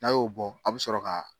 N'a y'o bɔ a bɛ sɔrɔ ka